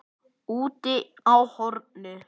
Úti á horni.